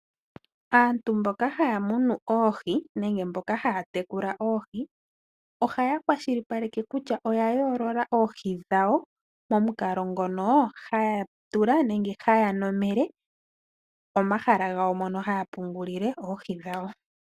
Aantu mboka haya munu oohi, nenge mboka haya tekula oohi, ohaya kwashilipaleke kutya oya yoolola oohi dhawo, momukalo ngono haya tula, nenge haya nomele omahala gawo mono haya pungulile oohi dhawo.